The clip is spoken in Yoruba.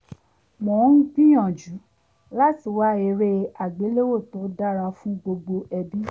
mò ń gbìyànjú láti wá eré àgbéléwò tó dára fún gbogbo ẹbí